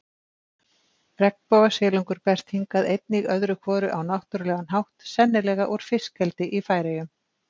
Regnbogasilungur berst hingað einnig öðru hvoru á náttúrulegan hátt, sennilega úr fiskeldi í Færeyjum.